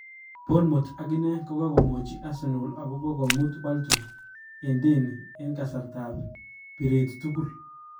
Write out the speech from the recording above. Bournemouth akine kokomwachi Arsenal akopa komut Walton en deni en kasartaap piret tugul